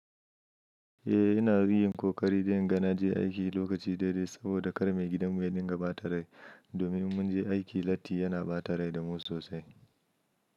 Eh, ina yin kokari da inga na je aiki lokaci daidai saboda kar mai gidan mu ya dinga bata rai. Domin in mun je aiki, latti yana ba tare da mu sosai.